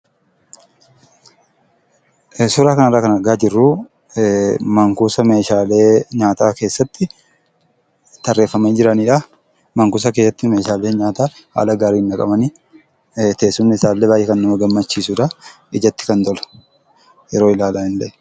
Suuraa kanarraa kan argaa jirru, Man-kuusa meeshaalee nyaataa keessatti tarreeffamanii jiranidha. Man-kuusa keessatti meeshaalee nyaataa haala gaariin naqamanii, teessumni isaallee baay'ee kan nama gammachiisudha. ijatti kan tolu yeroo ilaalanillee.